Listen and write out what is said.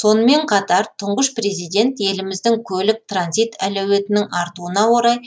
сонымен қатар тұңғыш президент еліміздің көлік транзит әлеуетінің артуына орай